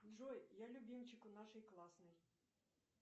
джой я любимчик у нашей классной